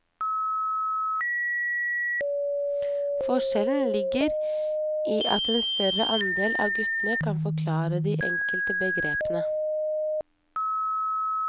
Forskjellen ligger i at en større andel av guttene kan forklare de enkelte begrepene.